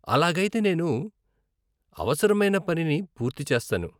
అలాగైతే నేను అవసరమైన పనిని పూర్తి చేస్తాను.